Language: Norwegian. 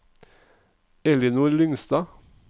Ellinor Lyngstad